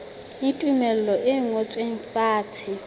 le tumello e ngotsweng fatshe